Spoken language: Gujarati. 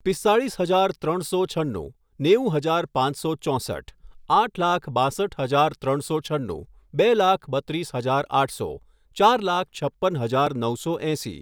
પિસ્તાળીસ હજાર ત્રણસો છન્નું, નેવું હજાર પાંચસો ચોંસઠ, આઠ લાખ બાંસઠ હજાર ત્રણસો છન્નું, બે લાખ બત્રીસ હજાર આઠસો, ચાર લાખ છપ્પન હજાર નવસો એંસી